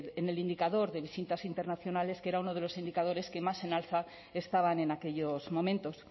en el indicador de visitas internacionales que era uno de los indicadores que más en alza estaban en aquellos momentos